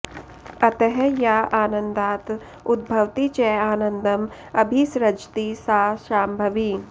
अतः या आन्दात् उद्भवति च आनन्दं अभिसृजति सा शाम्भवी